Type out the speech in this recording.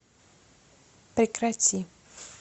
прекрати